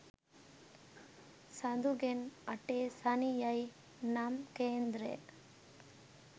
සඳුගෙන් අටේ ශනි යයි නම් කේන්ද්‍රය